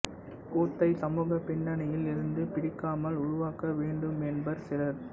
கூத்தை சமூகப் பின்னணியில் இருந்து பிரிக்காமல் உருவாக்க வேண்டுமென்பர் சிலர்